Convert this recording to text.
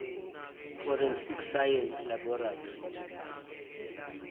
forensic science laboratory